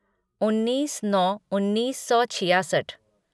उन्नीस नौ उन्नीस सौ छियासठ